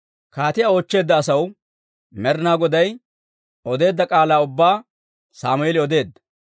Kaatiyaa oochcheedda asaw Med'inaa Goday odeedda k'aalaa ubbaa Sammeeli odeedda.